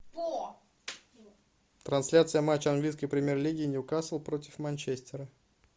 трансляция матча английской премьер лиги ньюкасл против манчестера